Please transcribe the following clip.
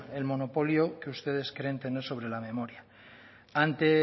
el monopolio que ustedes creen tener sobre la memoria ante